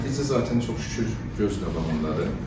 Nəticə zatən çox şükür göz qabağındadır.